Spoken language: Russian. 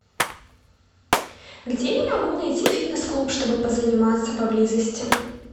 где я могу найти фитнес клуб чтобы позаниматься поблизости